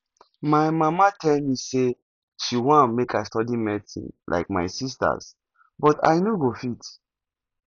my mama tell me say she wan make i study medicine like my sisters but i no go fit